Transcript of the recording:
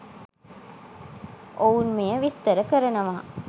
ඔවුන් මෙය විස්තර කරනවා